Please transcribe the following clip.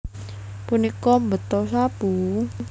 Punika mbeta sapu